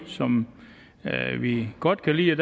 som vi godt kan lide